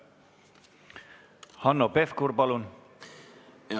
Hanno Pevkur, palun!